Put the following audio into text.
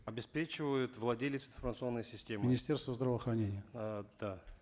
обеспечивает владелец информационной системы министерство здравоохранения э да